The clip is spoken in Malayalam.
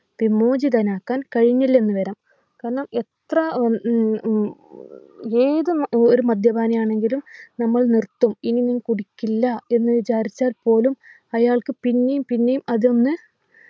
വിമോചിതനാക്കാൻ കഴിഞ്ഞില്ലെന്നു വരാം കാരണം എത്ര ആഹ് ഉം ഉം വേഗം ആഹ് ഒരു മദ്യപാനിയാണെങ്കിലും നമ്മൾ നിർത്തും ഇനി ഞാൻ കുടിക്കില്ല എന്ന് വിചാരിച്ചാൽ പോലും അയാൾക്ക് പിന്നിം പിന്നിം അതൊന്നു